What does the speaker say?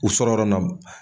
U sɔrɔ yɔrɔ nɔ